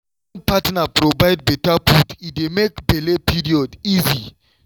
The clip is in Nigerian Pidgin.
wen partner provide better food e dey make belle period easy.